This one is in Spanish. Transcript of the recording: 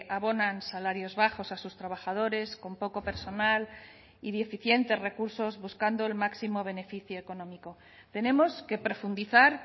abonan salarios bajos a sus trabajadores con poco personal y deficientes recursos buscando el máximo beneficio económico tenemos que profundizar